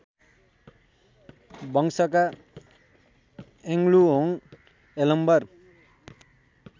वंशका यङलुहोङ यलम्बर